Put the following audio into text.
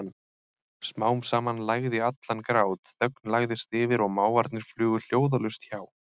Smám saman lægði allan grát, þögn lagðist yfir og máfarnir flugu hljóðalaust hjá.